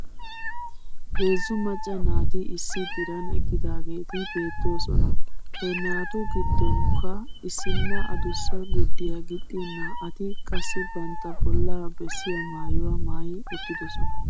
Heezzu maacca naati issi diran eqqidaageeti beettoosona. He naatu giddonkka issinna adussa gurddiyaa gixxin naa'ati qassi bantta bollaa bessiyaa maayuwaa maayi uttidosona.